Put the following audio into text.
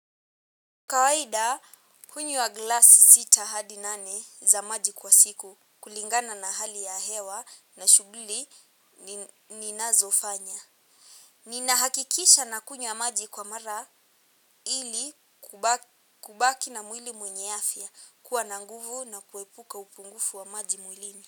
Kawaida hunywa glasi sita hadi nane za maji kwa siku kulingana na hali ya hewa na shughuli ninazo fanya. Ninahakikisha na kunywa maji kwa mara ili kubaki na mwili wenye afya kuwa na nguvu na kuepuka upungufu wa maji mwilini.